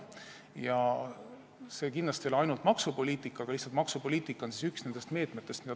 See valdkond ei ole kindlasti ainult maksupoliitika, lihtsalt maksupoliitika on üks nendest meetmetest.